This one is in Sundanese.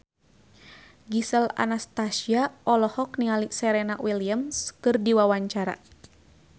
Gisel Anastasia olohok ningali Serena Williams keur diwawancara